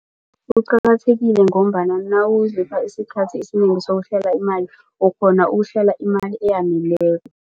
Kuqakathekile ngombana nawuzipha isikhathi esinengi sokuhlela imali, ukghona ukuhlela imali eyaneleko.